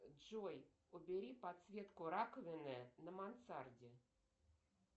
джой убери подсветку раковины на мансарде